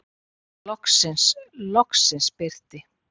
Loksins, loksins birti.